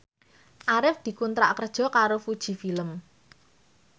Arif dikontrak kerja karo Fuji Film